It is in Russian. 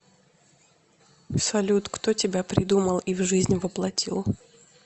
салют кто тебя придумал и в жизнь воплотил